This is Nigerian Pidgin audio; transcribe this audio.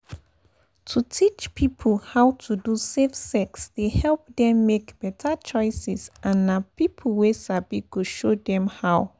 to teach people how to do safe sex dey help dem make better choices and na people wey sabi go show dem how.